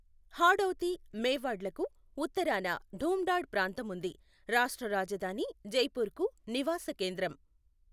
హాడౌతీ, మేవాడ్ లకు ఉత్తరాన ఢూంఢాడ్ ప్రాంతం ఉంది, రాష్ట్ర రాజధాని జైపూర్కు నివాస కేంద్రం.